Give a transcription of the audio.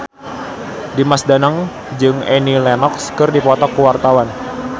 Dimas Danang jeung Annie Lenox keur dipoto ku wartawan